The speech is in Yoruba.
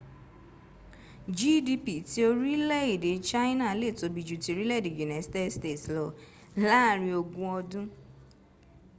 gdp ti orile ede china le tobi ju ti orile ede united states lo laarin ogun odun